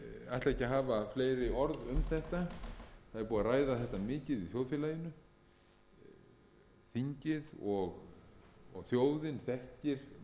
ætla ekki að hafa fleiri orð um þetta það er búið að ræða þetta mikið í þjóðfélaginu þingið og þjóðin þekkir málavöxtu